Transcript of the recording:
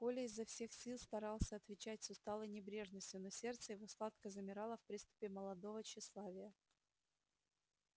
коля изо всех сил старался отвечать с усталой небрежностью но сердце его сладко замирало в приступе молодого тщеславия